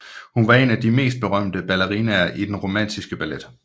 Hun var en af de mest berømte ballerinaer i den romantiske ballet